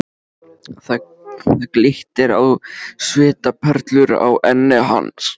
Það glittir á svitaperlur á enni hans.